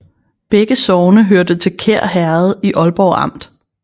Begge sogne hørte til Kær Herred i Aalborg Amt